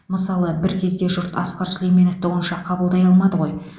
мысалы бір кезде жұрт асқар сүлейменовті онша қабылдай алмады ғой